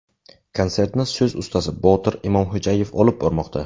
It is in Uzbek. Konsertni so‘z ustasi Botir Imomxo‘jaev olib bormoqda.